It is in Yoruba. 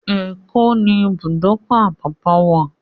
Èkó ní ibùdókọ̀-Àpápá wà.